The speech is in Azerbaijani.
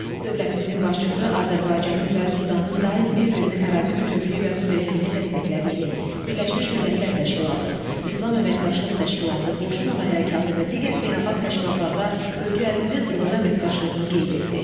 Dövlətimizin başçısı Azərbaycanın və Sudanın daim bir-birinin ərazi bütövlüyü və suverenliyini dəstəklədiyini, Birləşmiş Millətlər Təşkilatı, İslam Əməkdaşlıq Təşkilatı, Qoşulmama Hərəkatı və digər beynəlxalq təşkilatlarda ölkələrimizin uğurlu əməkdaşlığını qeyd etdi.